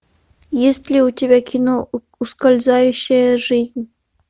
есть ли у тебя кино ускользающая жизнь